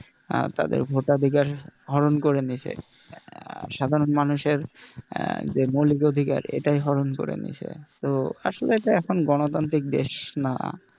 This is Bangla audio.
আহ তাদের ভোটাধিকার হরণ করে নিছে আহ সাধারণ মানুষের যে মৌলিক অধিকার এটাই হরণ করে নিচ্ছে তো আসলে এখন এটা গণতান্ত্রিক দেশ না,